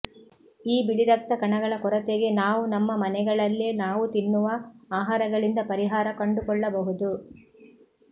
ಈ ಬಿಳಿ ರಕ್ತಕಣಗಳ ಕೊರತೆಗೆ ನಾವು ನಮ್ಮ ಮನೆಗಳಲ್ಲೇ ನಾವು ತಿನ್ನುವ ಆಹಾರಗಳಿಂದ ಪರಿಹಾರ ಕಂಡುಕೊಳ್ಳಬಹುದು